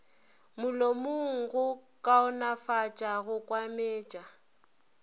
molomong go kaonefatša go kwametša